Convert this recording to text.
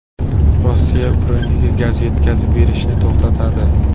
Rossiya Ukrainaga gaz yetkazib berishni to‘xtatadi.